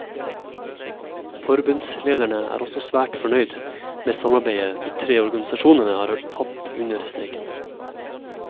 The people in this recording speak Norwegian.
Forbundslederen er også svært fornøyd med samarbeidet de tre organisasjonene har hatt under streiken.